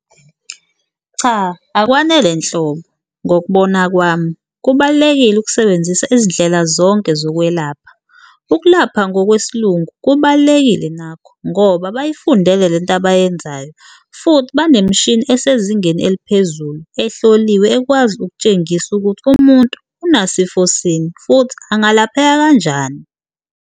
Cha, akwanele nhlobo ngokubona kwami kubalulekile ukusebenzisa izindlela zonke zokwelapha ukulapha ngokwesiLungu kubalulekile nakho, ngoba bayifundele lento abayenzayo futhi banemishini esezingeni eliphezulu ehloliwe ekwazi ukutshengisa ukuthi umuntu unasifo sini futhi angalapheka kanjani.